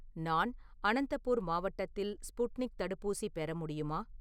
நான் அனந்தபூர் மாவட்டத்தில் ஸ்புட்னிக் தடுப்பூசி பெற முடியுமா?